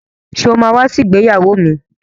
Sọ ma wá sí ìgbéyàwó mi?